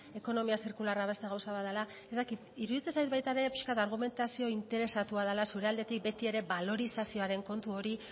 ekonomia zirkularra beste gauza bat dela ez dakit iruditzen zait baita ere pixka bat argumentazio interesatua dela zure aldetik betiere balorizazioaren kontu hori